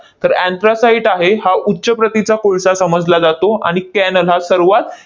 तर anthracite आहे, हा उच्च प्रतीचा कोळसा समजला जातो आणि cannel हा सर्वात